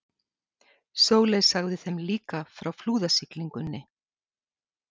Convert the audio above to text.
Sóley sagði þeim líka frá flúðasiglingunni.